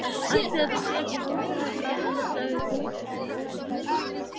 Ætli þetta sé ekki hótelherbergið hans sagði Tóti með fyrirlitningu.